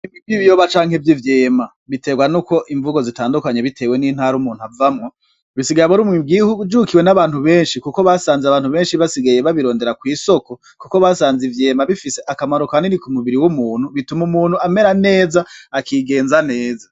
Icamwa ciza cane citwa ivuka ivuka akaba ari nziza kumubiri ivuka ikaba ikasemwa kubiri hakaba harimwo n'urubuto hagati muri yo vuka.